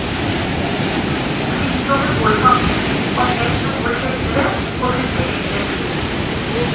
Flytoget går faktisk, om enn noe sjeldnere, og bruker lengre tid.